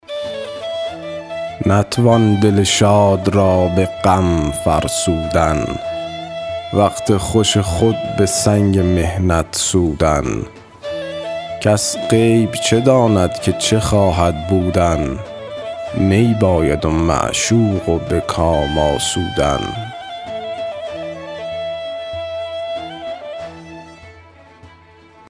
نتوان دل شاد را به غم فرسودن وقت خوش خود به سنگ محنت سودن کس غیب چه داند که چه خواهد بودن می باید و معشوق و به کام آسودن